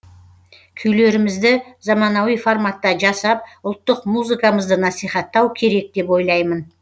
күйлерімізді заманауи форматта жасап ұлттық музыкамызды насихаттау керек деп ойлаймын